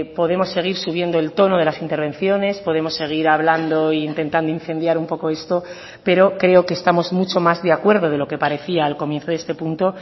podemos seguir subiendo el tono de las intervenciones podemos seguir hablando e intentando incendiar un poco esto pero creo que estamos mucho más de acuerdo de lo que parecía al comienzo de este punto